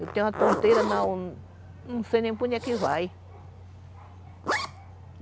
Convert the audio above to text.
Eu tenho uma tonteira, não sei nem por onde é que vai.